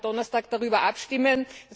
Wir werden am Donnerstag darüber abstimmen.